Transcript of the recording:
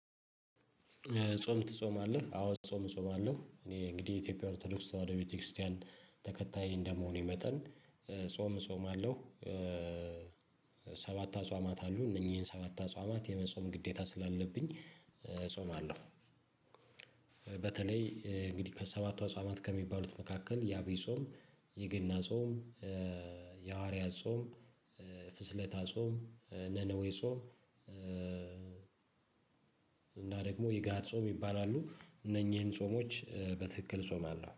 ጾም ትጾማለህ? አዎ ጾም እጾማለሁ። እኔ እንግዲህ የኢትዮጵያ ኦርቶዶክስ ተዋህዶ ቤተክርስቲያን ተከታይ እንደመሆኔ መጠን ጾም እጾማለሁ። ሰባት አጽዋማት አሉ እነኚህን ሰባት አጽዋማት የመጾም ግዴታ ስላለብኝ እጾማለሁ። በተለይ እንግዲህ ከሰባቱ አጽዋማት ከሚባሉት መካከል የአብይ ጾም የገና ጾም የሐዋርያ ጾም ፍስለታ ጾም ነነዌ ጾም እና ደግሞ የጋድ ጾም ይባላሉ እነኚህን ጾሞች በትክክል እጾማለሁ